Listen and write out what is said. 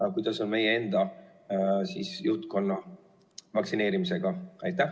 Aga kuidas on meie juhtkonna vaktsineerimisega?